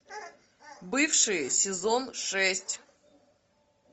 бывшие сезон шесть